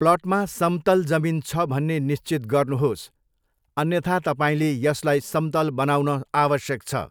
प्लटमा समतल जमिन छ भन्ने निश्चित गर्नुहोस्, अन्यथा तपाईँले यसलाई समतल बनाउन आवश्यक छ।